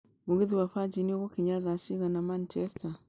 mũgithi wa virgin ũgũkinya thaa cigana manchester